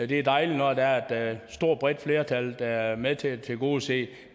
det er dejligt når der er et stort og bredt flertal der vil være med til at tilgodese